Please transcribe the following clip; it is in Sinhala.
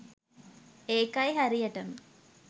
ඒකයි හරියටම